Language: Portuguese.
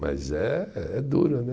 Mas é é duro, né?